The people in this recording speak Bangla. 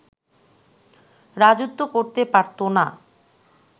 রাজত্ব করতে পারতো না